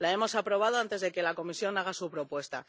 La hemos aprobado antes de que la Comisión haga su propuesta.